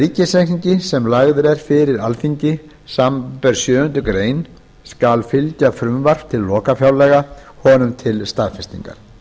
ríkisreikningi sem lagður er fyrir alþingi samanber sjöundu grein skal fylgja frumvarp til lokafjárlaga honum til staðfestingar